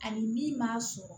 Ani min m'a sɔrɔ